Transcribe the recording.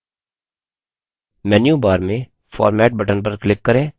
menu bar में format button पर click करें